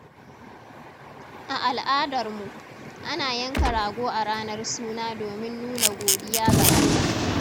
A al’adar mu, ana yanka rago a ranar suna domin nuna godiya ga Allah.